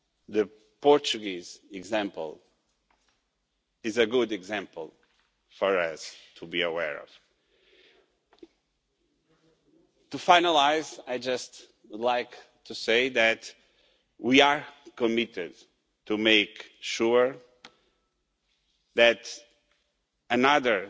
The Portuguese example is a good example for us to be aware of. To finalise, I would just like to say that we are committed to making sure that another